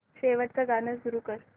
शेवटचं गाणं सुरू कर